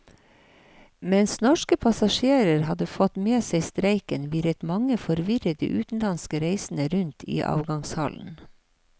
Mens norske passasjerer hadde fått med seg streiken, virret mange forvirrede utenlandske reisende rundt i avgangshallen.